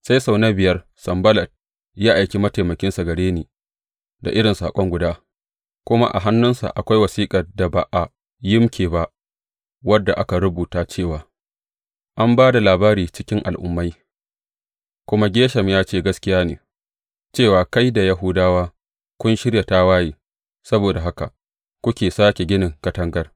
Sai sau na biya, Sanballat ya aiki mataimakinsa gare ni da irin saƙo guda, kuma a hannunsa akwai wasiƙar da ba a yimƙe ba wadda aka rubuta cewa, An ba da labari cikin al’ummai, kuma Geshem ya ce gaskiya ne, cewa kai da Yahudawa kun shirya tawaye, saboda haka kuke sāke ginin katangar.